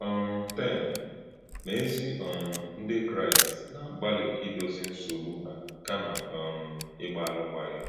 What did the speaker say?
um 10. Ma ézí um Ndị Kraịst na-agbálị idozi nsogbu ha kàma um ị̀gbá alụkwaghịm.